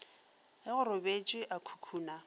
ge go robetšwe a khukhuna